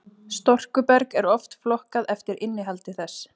storkuberg er oft flokkað eftir innihaldi þess